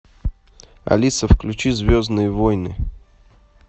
алиса включи звездные войны